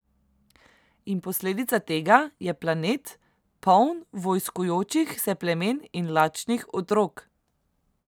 In posledica tega je planet, poln vojskujočih se plemen in lačnih otrok.